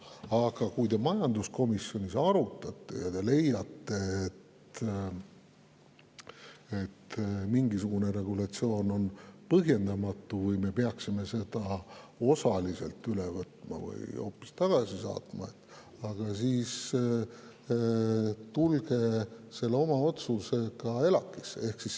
Aga kui te majanduskomisjonis midagi arutate ja leiate, et mingisugune regulatsioon on põhjendamatu või me peaksime selle osaliselt üle võtma või hoopis tagasi saatma, siis tulge oma otsusega ELAK-isse.